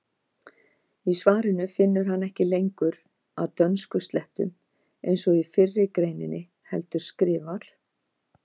Í svarinu finnur hann ekki lengur að dönskuslettum eins og í fyrri greininni heldur skrifar: